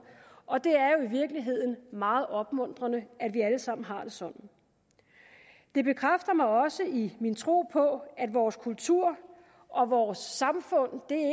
og det er jo i virkeligheden meget opmuntrende at vi alle sammen har det sådan det bekræfter mig også i min tro på at vores kultur og vores samfund